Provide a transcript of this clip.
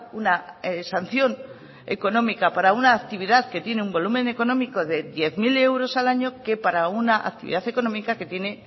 una sanción económica para una actividad que tiene un volumen económico de diez mil euros al año que para una actividad económica que tiene